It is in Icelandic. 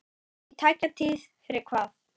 Í tæka tíð fyrir hvað?